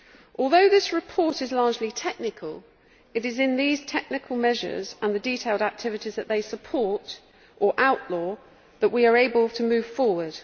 Although this report is largely technical, it is through these technical measures and the detailed activities that they support, or outlaw, that we are able to move forward.